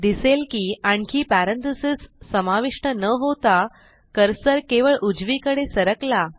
दिसेल की आणखी पॅरेंथेसिस समाविष्ट न होता कर्सर केवळ उजवीकडे सरकला